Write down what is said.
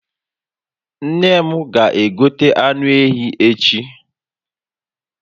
Nne m ga egota anụ ehi echi